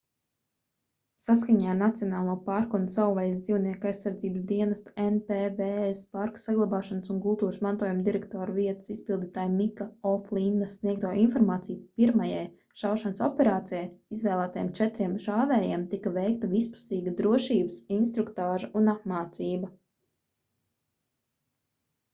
saskaņā ar nacionālo parku un savvaļas dzīvnieku aizsardzības dienesta npws parku saglabāšanas un kultūras mantojuma direktora vietas izpildītāja mika o'flinna sniegto informāciju pirmajai šaušanas operācijai izvēlētajiem četriem šāvējiem tika veikta vispusīga drošības instruktāža un apmācība